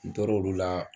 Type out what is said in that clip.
N tor'o la